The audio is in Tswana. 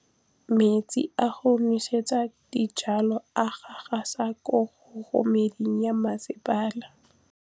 Metsi a go nosetsa dijalo a gasa gasa ke kgogomedi ya masepala.